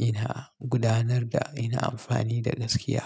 ina gudanar da Ina amfani da gaskiya.